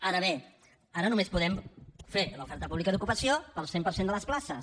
ara bé ara només podem fer l’oferta pública d’ocupació per al cent per cent de les places